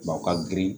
Bawo ka girin